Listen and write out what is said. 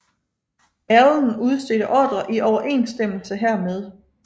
Allen udstedte ordrer i overensstemmelse hermed